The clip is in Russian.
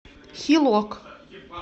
хилок